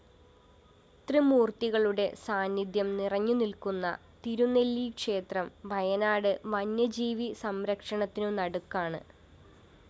ത്രിമൂര്‍ത്തികളുടെ സാന്നിധ്യം നിറഞ്ഞുനില്‍ക്കുന്ന തിരുനെല്ലിക്ഷേത്രം വയനാട് വന്യജീവി സംരക്ഷണത്തിനു നടുക്കാണ്